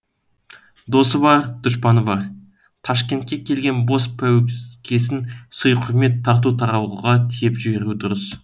досы бар дұшпаны бар ташкентке келген бос пәуескесін сый құрмет тарту таралғыға тиеп жіберу дұрыс